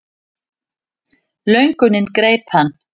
Löngunin greip hann.